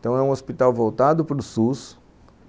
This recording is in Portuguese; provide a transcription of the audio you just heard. Então é um hospital voltado para o SUS